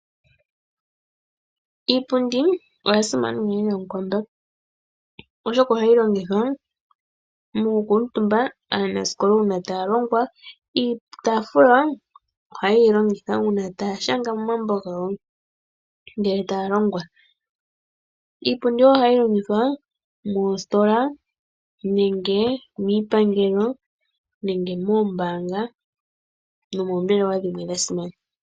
Iipundi oya simana unene noonkondo, oshoka ohayi longithwa mokukuutumba aanaskola uuna taa longwa. Iitaafula ohaye yi longitha uuna taa shanga momambo gawo ngele taya longwa. Iipundi wo ohayi longithwa moostola nenge miipangelo nenge moombaanga nomoombelewa dhimwe dha simana.